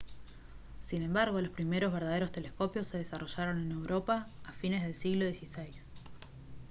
sin embargo los primeros verdaderos telescopios se desarrollaron en europa a fines del siglo xvi